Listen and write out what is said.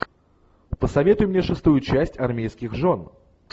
посоветуй мне шестую часть армейских жен